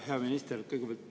Hea minister!